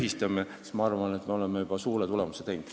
Siis, ma arvan, me oleksime juba suure tulemuse saanud.